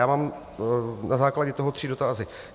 Já mám na základě toho tři dotazy.